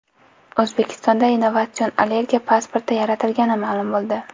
O‘zbekistonda innovatsion allergiya pasporti yaratilgani ma’lum bo‘ldi.